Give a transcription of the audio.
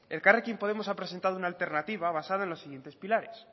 elkarrekin podemos ha presentado una alternativa basada en los siguientes pilares